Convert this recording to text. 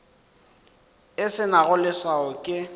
e se nago leswao ke